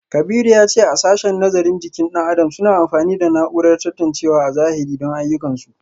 Kabiru ya ce a sashen nazarin jikin dan adam suna amfani da na’urar tantancewa a zahiri don ayyukansu